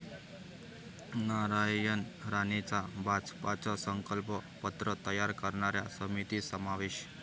नारायण राणेंचा भाजपचं 'संकल्प पत्र' तयार करणाऱ्या समितीत समावेश